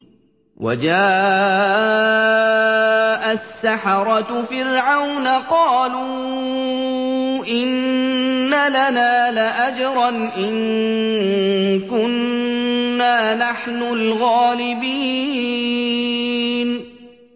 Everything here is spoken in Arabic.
وَجَاءَ السَّحَرَةُ فِرْعَوْنَ قَالُوا إِنَّ لَنَا لَأَجْرًا إِن كُنَّا نَحْنُ الْغَالِبِينَ